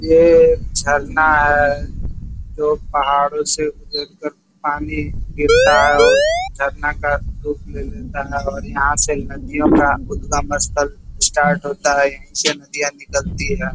ये झरना है जो पहाड़ों से गुजर कर पानी गिरता है और झरना का रूप ले लेता है और यहाँ से नदियों का उदगम स्थल स्टार्ट होता है यहीं से नदियां निकलती हैं।